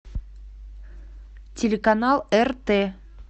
телеканал рт